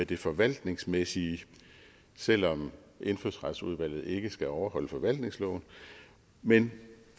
det forvaltningsmæssige selv om indfødsretsudvalget ikke skal overholde forvaltningsloven men